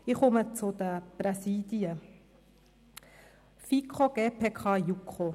Ich komme zu den Präsidien FiKo, GPK und JuKo: